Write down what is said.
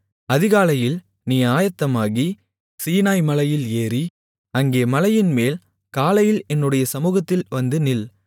அதிகாலையில் நீ ஆயத்தமாகி சீனாய் மலையில் ஏறி அங்கே மலையின் மேல் காலையில் என்னுடைய சமுகத்தில் வந்து நில்